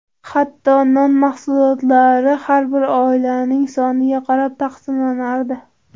Hatto, non mahsuloti har bir oilaning soniga qarab taqsimlanardi.